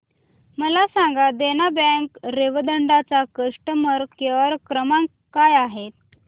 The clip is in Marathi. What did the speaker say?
मला सांगा देना बँक रेवदंडा चा कस्टमर केअर क्रमांक काय आहे